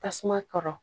Tasuma kɔrɔ